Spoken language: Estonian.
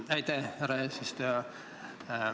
Aitäh, härra eesistuja!